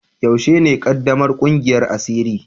Yaushe ne ƙaddamar ƙungiyar asiri?